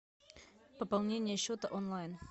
пополнение счета онлайн